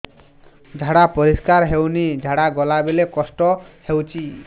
ଝାଡା ପରିସ୍କାର ହେଉନି ଝାଡ଼ା ଗଲା ବେଳେ କଷ୍ଟ ହେଉଚି